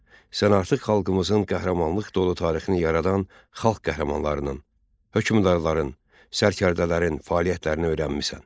Sən artıq xalqımızın qəhrəmanlıq dolu tarixini yaradan xalq qəhrəmanlarının, hökmdarların, sərkərdələrin fəaliyyətlərini öyrənmisən.